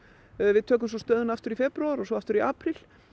við tökum svo stöðuna aftur í febrúar og svo aftur í apríl